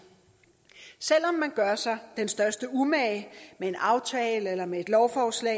selv om man gør sig den største umage med en aftale eller med et lovforslag